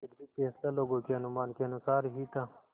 यद्यपि फैसला लोगों के अनुमान के अनुसार ही था